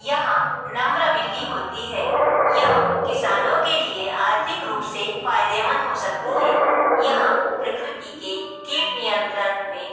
यहां नम्र बिल्ली होती है यह किसानों के लिए आर्थिक रूप से फायदे मंद हो सकती है यहां प्रकृति के कीट नियंत्रण में--